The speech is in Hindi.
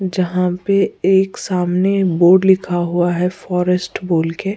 जहां पे एक सामने बोर्ड लिखा हुआ है फॉरेस्ट बोल के।